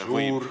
Suur aitäh!